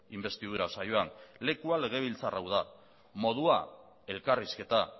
inbestidura saioan lekua legebiltzar hau da modua elkarrizketa